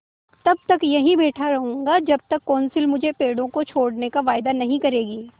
तब तक यहीं बैठा रहूँगा जब तक कौंसिल मुझे पेड़ों को छोड़ने का वायदा नहीं करेगी